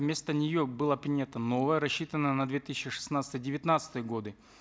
вместо нее была принята новая рассчитанная на две тысячи шестнадцатый девятнадцатые годы